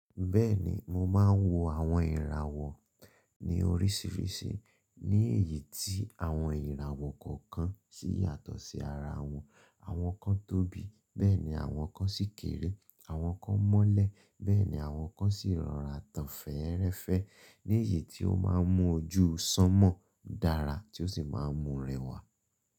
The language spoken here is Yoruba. Bẹ́ẹ̀ni mo máa ń wo àwọn ìràwọ̀ ní oríṣiríṣi, ní èyí tí àwọn ìràwọ̀ kọ̀ọ̀kan sì yàtọ̀ sí ara wọn. Àwọn kan tóbi, bẹ́ẹ̀ ni àwọn kan sì kéré, àwọn kan mọ́lẹ̀, bẹ́ẹ̀ ni àwọn kan sì rọra tán fẹ́ẹ́rẹ́fẹ́ ní èyí tí ó máa ń mú ojú sanmọ́ dára tí ó sì máa ń mú rẹwà.